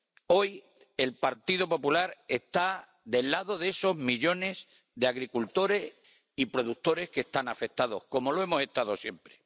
Hoy, el Partido Popular está del lado de esos millones de agricultores y productores que están afectados, como lo ha estado siempre.